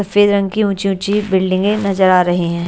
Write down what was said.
सफ़ेद रंग की ऊंची ऊंची बिल्डिंगे नजर आ रही हैं।